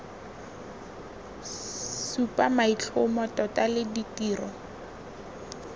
supa maitlhomo tota le ditiro